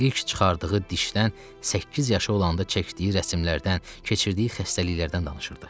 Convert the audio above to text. İlk çıxardığı dişdən, səkkiz yaşı olanda çəkdiyi rəsimlərdən, keçirdiyi xəstəliklərdən danışırdı.